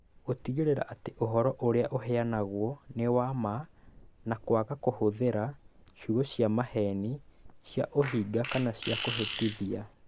Gũtigĩrĩra atĩ ũhoro ũrĩa ũheanagwo nĩ wa ma na kwaga kũhũthĩra ciugo cia maheeni, cia ũhinga kana cia kũhĩtithia.